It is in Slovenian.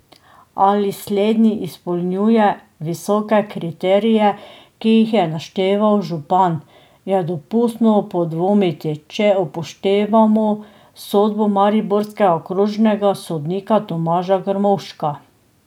Ali slednji izpolnjuje visoke kriterije, ki jih je našteval župan, je dopustno podvomiti, če upoštevamo sodbo mariborskega okrožnega sodnika Tomaža Grmovška.